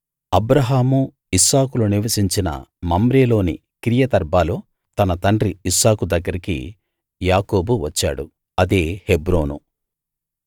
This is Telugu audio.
అబ్రాహాము ఇస్సాకులు నివసించిన మమ్రేలోని కిర్యతర్బాలో తన తండ్రి ఇస్సాకు దగ్గరికి యాకోబు వచ్చాడు అదే హెబ్రోను